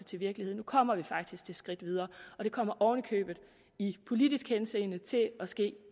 til virkelighed nu kommer vi faktisk det skridt videre og det kommer oven i købet i politisk henseende til at ske